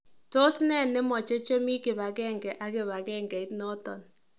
Tos nee nemoche chemii kibangenge ak kibangengeit noton .